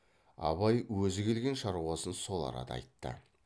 абай өзі келген шаруасын сол арада айтты